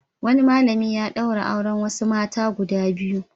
Wani malami ya ɗaura auren wasu mata guda biyu.